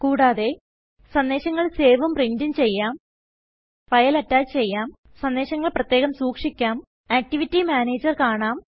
കൂടാതെ സന്ദേശങ്ങൾ സേവും പ്രിന്റും ചെയ്യാം attach a file file attach ചെയ്യാം സന്ദേശങ്ങൾ പ്രത്യേകം സൂക്ഷിക്കാം ആക്ടിവിറ്റി മാനേജർ കാണാം